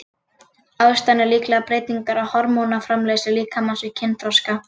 Ástæðan er líklega breytingar á hormónaframleiðslu líkamans við kynþroska.